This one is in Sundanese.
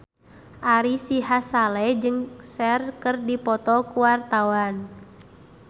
Ari Sihasale jeung Cher keur dipoto ku wartawan